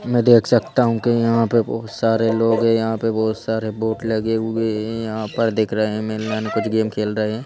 मैं देख सकता हूँ कि यहाँ पे बहुत सारे लोग हैं यहाँ पे बहुत सारे बोट लगे हुए हैं यहाँ पर देख रहे हैं कुछ गेम खेल रहे हैं।